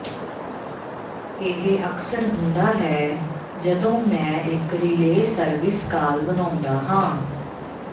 ਇਹ ਅਕਸਰ ਹੁੰਦਾ ਹੈ ਜਦੋਂ ਮੈਂ ਇੱਕ ਰੀਲੇਅ ਸਰਵਿਸ ਕਾਲ ਬਣਾਉਂਦਾ ਹਾਂ